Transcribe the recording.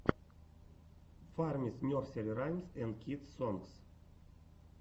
фармис нерсери раймс энд кидс сонгс